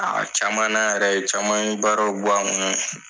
A caman na yɛrɛ caman ye baaraw b'a ma